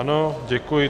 Ano, děkuji.